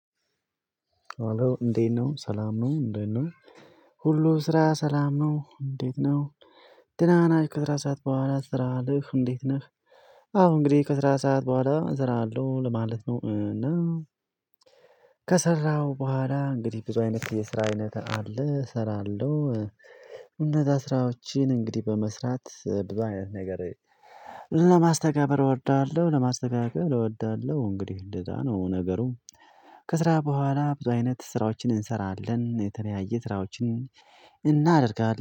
እንዴት ነው ሰላም ነው እንዴት ነው? ሁሉም ስራ ሰላም ነው እንዴት ነው? ድናና ከስራ ሰዓት በኋላ ትዞራለህ እንዴት ነህ? አዎ እንግዲህ ከስራ ሰዓት በኋላ እዞራለሁ ለማለት ነው። እና ከሰራሁ በኋላ እንግዲህ ብዙ አይነት የስራ አይነት አለ እሰራለሁ እነዛ ስራዎችን እንግዲህ በመስራት ብዙ አይነት ነገር ለማስተገበር እወዳለሁ ለማስተጋበር እወዳለሁ እንግዲህ እንደዛ ነው ነገሩ። ከስራ በኋላ ብዙ አይነት ስራዎችን እንሰራለን የተለያየ ስራዎችን እናደርጋለን